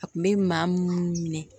A kun be maa munnu minɛ